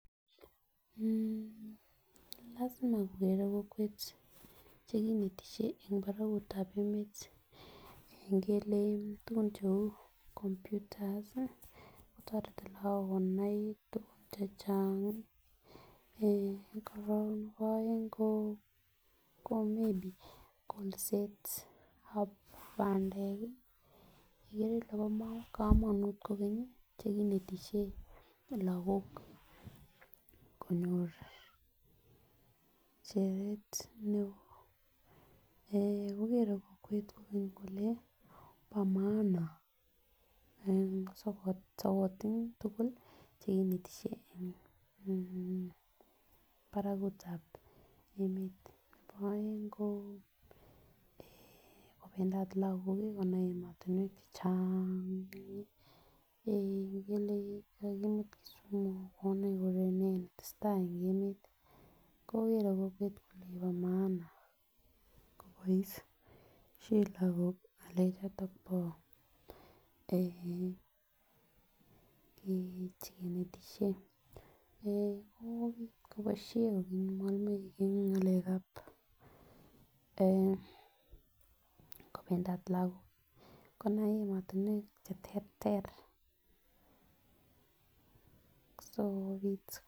Lasima kokere kokwet che kinetisie eng paragutab emet. Ngele tugun cheu komputas kotoret lagok konai tuguk che chang. Korok nebo aeng ko mi biik kolsetab bandek, igere ile bo kamanut kogeny chekinetisie lagok konyor cheret neo. Kogere kokwet kole bo maana sokat tugul che inetisie eng paragutab emet. Nebo aeng ko kopendat lagok konai ematinuek che chang, ngele kakimut Kisumu, konai kole ne netesetai eng emet. Kogere kokwet kole ne nebo maana koboisien lagok ngalechoto bo ee chekinetisie. Koboisie mwalimuek eng ngalekab kopendat lagok konai ematinuek cheterter sigopit